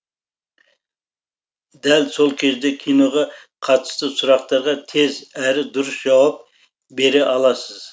дәл сол кезде киноға қатысты сұрақтарға тез әрі дұрыс жауап бере аласыз